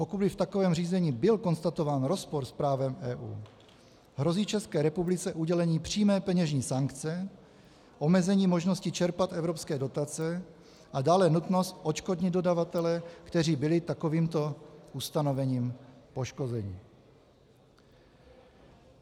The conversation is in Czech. Pokud by v takovém řízení byl konstatován rozpor s právem EU, hrozí České republice udělení přímé peněžní sankce, omezení možnosti čerpat evropské dotace a dále nutnost odškodnit dodavatele, kteří byli takovýmto ustanovením poškozeni.